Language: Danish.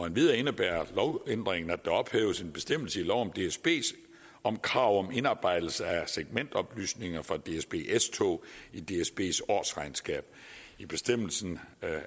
endvidere indebærer lovændringen at der ophæves en bestemmelse i lov om dsb om krav om indarbejdelse af segmentoplysninger fra dsb s tog i dsbs årsregnskab i bestemmelsen